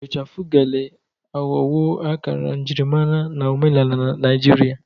Ichafụ Gele aghọwo akara njirimara na omenala Naijiria.